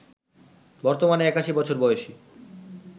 বর্তমানে ৮১ বছর বয়সী